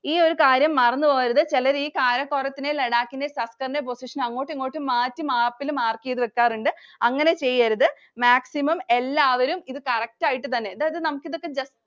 ഈ ഒരു കാര്യം മറന്നുപോകരുത്. ചെലര് ഈ കാരക്കോറത്തിന്റെയും ലഡാക്കിന്റെയും സസ്കറിന്റെയും position അങ്ങോട്ടുമിങ്ങോട്ടും മാറ്റി map ൽ mark ചെയ്ത് വെക്കാറുണ്ട്. അങ്ങനെ ചെയ്യരുത്. maximum എല്ലാവരും ഇത് correct ആയിട്ടുതന്നെ എടാ, നമുക്കി ഇതൊക്കെ just